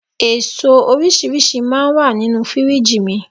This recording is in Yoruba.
Èso oríṣiríṣi máa ń wà nínú Fírìjì mi